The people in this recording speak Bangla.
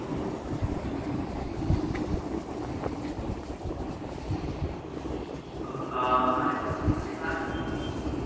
আহ আর একটা call মানে কার সঙ্গে করবো